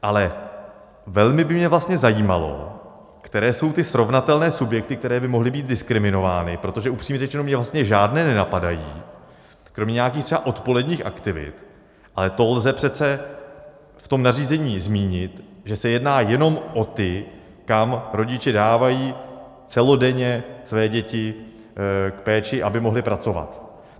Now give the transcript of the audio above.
Ale velmi by mě vlastně zajímalo, které jsou ty srovnatelné subjekty, které by mohly být diskriminovány, protože upřímně řečeno mě vlastně žádné nenapadají kromě nějakých třeba odpoledních aktivit, ale to lze přece v tom nařízení zmínit, že se jedná jenom o ty, kam rodiče dávají celodenně své děti k péči, aby mohli pracovat.